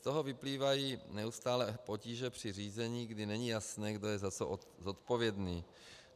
Z toho vyplývají neustálé potíže při řízení, kdy není jasné, kdo je za co odpovědný.